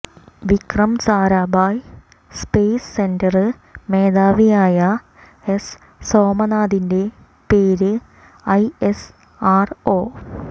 Vikram Sarabhai space centre മേധാവിയായ S സോമനാഥിന്റെ പേര് ഐ എസ് അര് ഒ